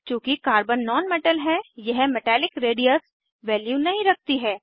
चूँकि carbon non metal है यह मेटैलिक रेडियस वैल्यू नहीं रखती है